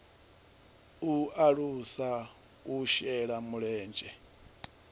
u alusa u shela mulenzhe